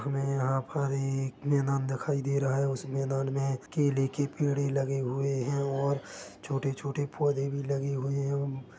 हमे यहाँ पर एक मैदान दिखाई दे रहा है उस मैदान मै केले के पेडे लगे हुए हैं और छोटे-छोटे पौधे भी लगे हुए हैं।